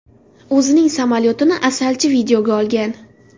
O‘zining sayohatini asalchi videoga olgan.